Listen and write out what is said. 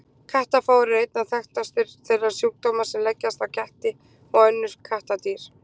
Kattafár er einna þekktastur þeirra sjúkdóma sem leggjast á ketti og önnur kattardýr.